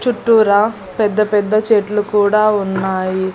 చుట్టూర పెద్ద పెద్ద చెట్లు కూడా ఉన్నాయి.